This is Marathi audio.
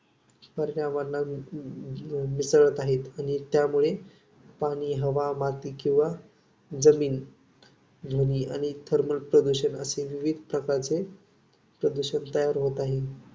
पर्यावरणात मिसळत आहेत. आणि त्यामुळे पाणी, हवा, माती किंवा जमीन ध्वनी आणि thermal प्रदूषण असे विविध प्रकारचे प्रदूषण तयार होत आहे.